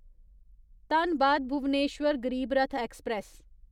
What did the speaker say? Dhanbad Bhubaneswar Garib Rath express